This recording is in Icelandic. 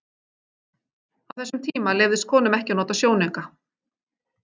Á þessum tíma leyfðist konum ekki að nota sjónauka.